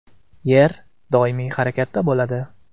Yer doimiy harakatda bo‘ladi.